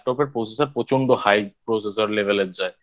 Laptop এর Processor প্রচন্ড High Processor Level এর যায়